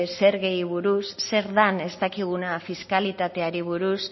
zergei buruz zer dan ez dakiguna fiskalitateari buruz